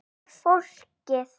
Og fólkið?